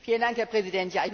Herr Präsident!